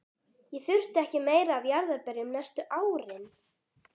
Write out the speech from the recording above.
Ég þurfti ekki meira af jarðarberjum næstu árin.